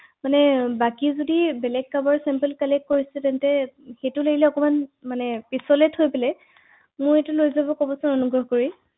হয়